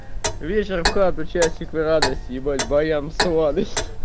вечер в хату часик в радость ебать баян в сладость